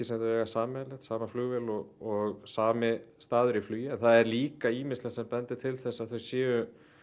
sem þau eiga sameiginlegt sama flugvél og sami staður í flugi en það er líka ýmislegt sem bendir til þess að þau sé